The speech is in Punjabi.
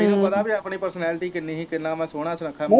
ਤੈਨੂੰ ਪਤਾ ਕੀ ਆਪਣੀ ਪਰਸੋਨਾਲਿਟੀ ਕਿੰਨੀ ਹੀ ਕਿੰਨਾ ਮੈਂ ਸੋਹਣਾ ਸੁਨੱਖਾ ਸੀ।